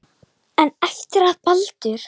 En eftir að Baldur.